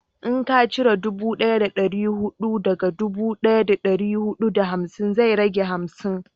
in ka cire dubu daya da dari hudu daga dubu daya da dari hudu da hamsin zai rage hamsin